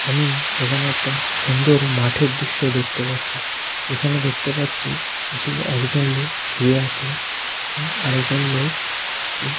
আমি এখানে একটা সুন্দর মাঠের দৃশ্য দেখতে পাচ্ছি। যেখানে দেখতে পাচ্ছি যে একজন লোক শুয়ে আছে এবং আর একজন লোক ও --